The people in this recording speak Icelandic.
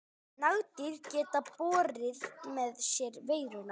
Nagdýr geta borið með sér veiruna.